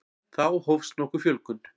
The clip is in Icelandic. Þá hófst nokkur fjölgun.